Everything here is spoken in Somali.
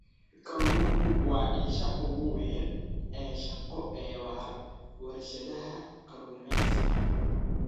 Kalluunku waa isha ugu weyn ee shaqo ee warshadaha kalluumeysiga.